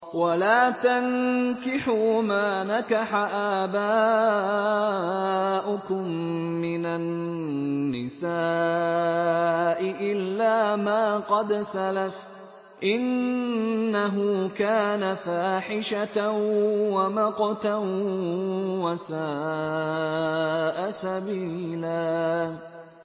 وَلَا تَنكِحُوا مَا نَكَحَ آبَاؤُكُم مِّنَ النِّسَاءِ إِلَّا مَا قَدْ سَلَفَ ۚ إِنَّهُ كَانَ فَاحِشَةً وَمَقْتًا وَسَاءَ سَبِيلًا